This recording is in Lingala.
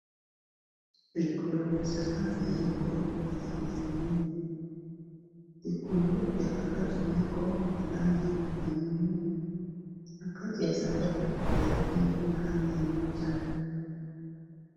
lokolo ya sapato moko na langi ya moindo na kati motane.